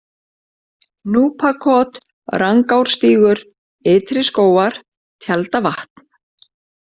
Núpakot, Rangárstígur, Ytri Skógar, Tjaldavatn